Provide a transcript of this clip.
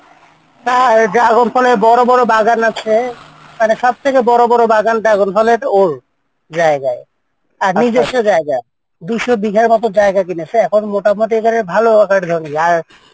তার dragon ফলের বাগান আছে মানে সব থেকে বড় বড় বাগান dragon ফলের ওর জায়গায় আর নিজস্ব জায়গা দুইশ বিঘার মতো জায়গা কিনেছে এখন মোটামটি করে ভালো একর জমি আর,